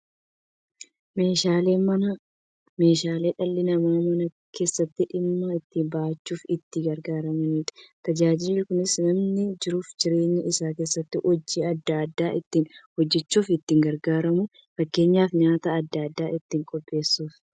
Meeshaaleen Manaa meeshaalee dhalli namaa Mana keessatti dhimma itti ba'achuuf itti gargaaramaniidha. Tajaajilli kunis, namni jiruuf jireenya isaa keessatti hojii adda adda ittiin hojjachuuf itti gargaaramu. Fakkeenyaaf, nyaata adda addaa ittiin qopheessuuf.